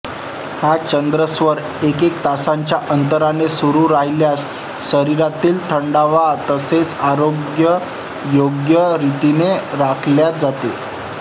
हा चंद्रस्वर एकएका तासाच्या अंतराने सुरू राहिल्यास शरीरातील थंडावा तसेच आरोग्य योग्य रितीने राखल्या जाते